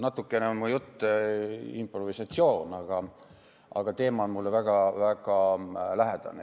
Natukene on mu jutt improvisatsioon, aga teema on mulle väga lähedane.